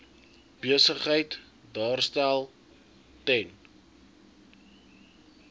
besigheid daarstel ten